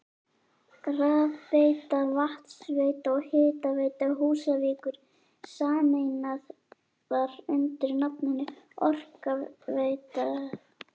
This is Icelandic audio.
Rafveita, Vatnsveita og Hitaveita Húsavíkur sameinaðar undir nafninu Orkuveita Húsavíkur.